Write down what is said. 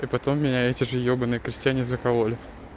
и потом меня эти же ебанные крестьяне закололи